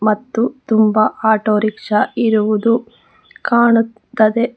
ಮತ್ತು ತುಂಬಾ ಆಟೋರಿಕ್ಷಾ ಇರುವುದು ಕಾಣುತ್ತದೆ.